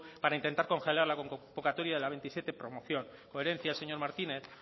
para intentar congelar la convocatoria de la veintisiete promoción coherencia señor martínez